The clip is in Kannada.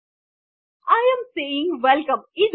ಇದು ಹೆಡ್ಡರ್ ಟ್ಯಾಗ್ ನಾನು ವೆಲ್ಕಮ್